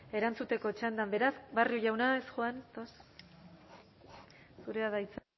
erantzuteko txandan beraz barrio jauna ez zurea da hitza